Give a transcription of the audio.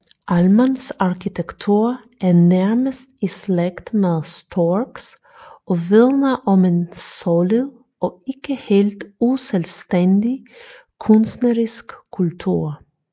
Ahlmanns arkitektur er nærmest i slægt med Storcks og vidner om en solid og ikke helt uselvstændig kunstnerisk kultur